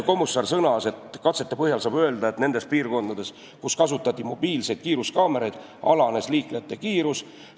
Kommusaar sõnas, et katsete põhjal saab öelda, et nendes piirkondades, kus kasutati mobiilseid kiiruskaameraid, liiklejate kiirus alanes.